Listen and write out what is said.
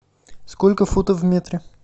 сколько футов в метре